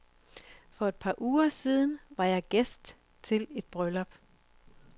For et par uger siden var jeg gæst til et bryllup.